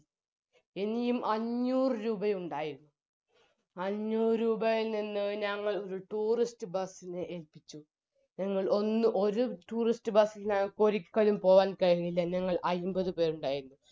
ഇനിയും അഞ്ഞൂറ് രൂപയുണ്ടായിരുന്നു അഞ്ഞൂറ് രൂപയിൽ നിന്ന് ഞങ്ങൾ ഒര് tourist bus ന് ഏൽപ്പിച്ചു ഞങ്ങൾ ഒന്ന് ഒര് tourist bus ന് ഞങ്ങക്ക് ഒരിക്കലും പോകാൻ കഴിഞ്ഞില്ല ഞങ്ങൾ അയിമ്പത് പേരുണ്ടായിരുന്നു